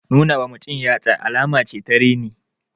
Nuna wa mutum yatsa alama ce ta reni.